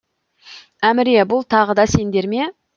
әміре бұл тағы да сендер ме